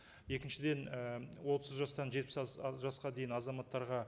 екіншіден і отыз жастан жетпіс жасқа дейін азаматтарға